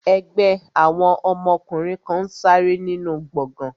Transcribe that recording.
Ẹgbẹ́ àwọn ọkùnrin kan n ṣe ìsàrẹ́ nínu gbọgán